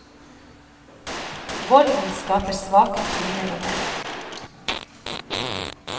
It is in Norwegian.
Volden skaper svake kvinner og menn.